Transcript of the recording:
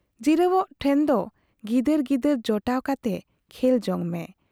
ᱡᱤᱨᱟᱹᱣᱜ ᱴᱷᱮᱱ ᱫᱚ ᱜᱤᱫᱟᱹᱨ ᱜᱤᱫᱟᱹᱨ ᱡᱚᱴᱟᱣ ᱠᱟᱛᱮ ᱠᱷᱮᱞᱡᱚᱝ ᱢᱮ ᱾